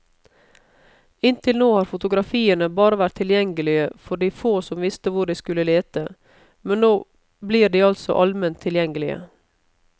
Inntil nå har fotografiene bare vært tilgjengelige for de få som visste hvor de skulle lete, men nå blir de altså alment tilgjengelige.